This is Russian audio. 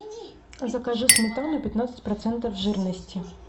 закажи сметану пятнадцать процентов жирности